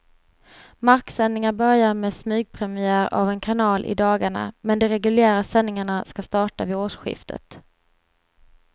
Marksändningar börjar med smygpremiär av en kanal i dagarna, men de reguljära sändningarna ska starta vid årsskiftet.